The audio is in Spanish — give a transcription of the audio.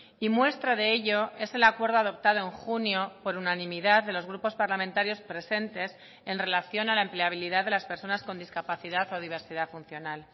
y muestra de ello es el acuerdo adoptado en junio por unanimidad de los grupos parlamentarios presentes en relación a la empleabilidad de las personas con discapacidad o diversidad funcional